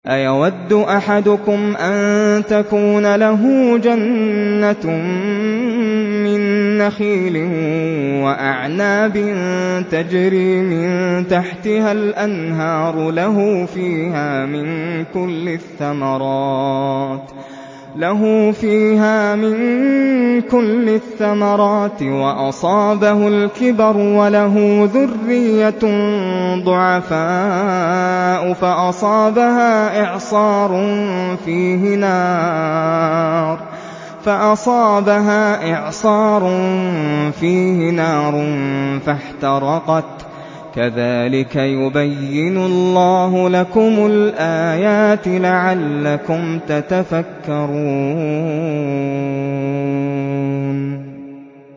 أَيَوَدُّ أَحَدُكُمْ أَن تَكُونَ لَهُ جَنَّةٌ مِّن نَّخِيلٍ وَأَعْنَابٍ تَجْرِي مِن تَحْتِهَا الْأَنْهَارُ لَهُ فِيهَا مِن كُلِّ الثَّمَرَاتِ وَأَصَابَهُ الْكِبَرُ وَلَهُ ذُرِّيَّةٌ ضُعَفَاءُ فَأَصَابَهَا إِعْصَارٌ فِيهِ نَارٌ فَاحْتَرَقَتْ ۗ كَذَٰلِكَ يُبَيِّنُ اللَّهُ لَكُمُ الْآيَاتِ لَعَلَّكُمْ تَتَفَكَّرُونَ